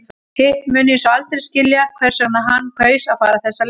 Hitt mun ég svo aldrei skilja hvers vegna hann kaus að fara þessa leið.